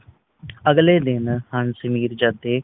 ਅਗਲੇ ਦਿਨ ਹੱਸ ਮੀਰਜਾਦੇ